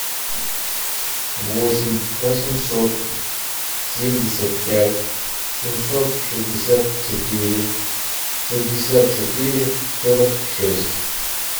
восемь восемьсот семьдесят пять семьсот шестьдесят четыре шестьдесят четыре сорок шесть